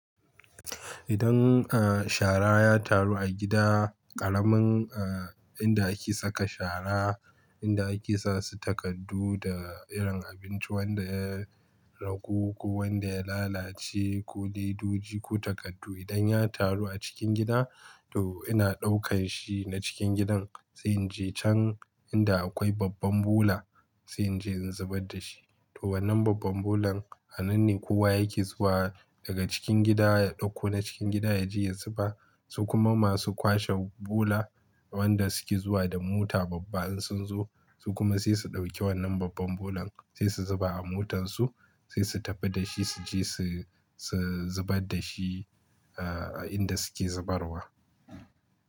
Idan shara ya taru a gida, ƙaramin inda ake saka shara, inda ake sa su takardu da irin abinci wanda ya ragu ko wanda ya lalace ko ledoji ko takardu idan ya taru a cikin gida to ina ɗaukan shi na cikin gidan sai in je can inda akwai babban bola sai in je in zubar da shi. To wannan babban bolan anan ne kowa yake zuwa daga cikin gida ya ɗauko na cikin gida ya je ya zuba su kuma masu kwashe bola wanda suke zuwa da mota babba in sun zo su kuma sai su ɗauki wannan babban bolan sai su zuba a motar su sai su tafi da shi su je su zubar da shi a inda suke zubarwa.